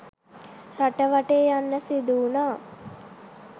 රට වටේ යන්න සිදුවුණා.